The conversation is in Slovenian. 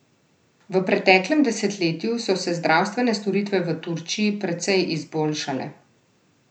V preteklem desetletju so se zdravstvene storitve v Turčiji precej izboljšale.